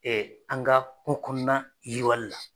an ka kungo kɔnɔna yiriwali la.